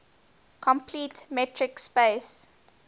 complete metric space